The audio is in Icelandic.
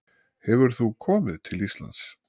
Hefur þú komið til Íslands?